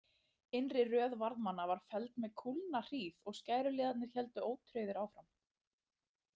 Innri röð varðmanna var felld með kúlnahríð og skæruliðarnir héldu ótrauðir áfram.